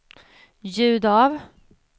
ljud av